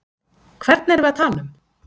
Hvern erum við að tala um?